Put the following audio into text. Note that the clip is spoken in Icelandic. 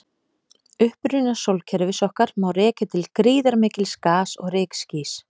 Uppruna sólkerfis okkar má rekja til gríðarmikils gas- og rykskýs.